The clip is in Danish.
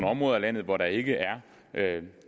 områder af landet hvor der ikke er